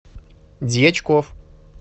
дьячков